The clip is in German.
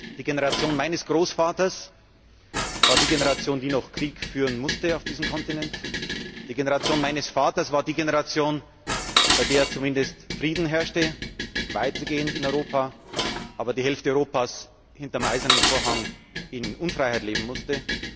Die Generation meines Großvaters war die Generation, die noch Krieg führen musste auf diesem Kontinent, die Generation meines Vaters war die Generation, bei der zumindest weitgehend Frieden herrschte in Europa, aber die Hälfte Europas hinter dem Eisernen Vorhang in Unfreiheit leben musste.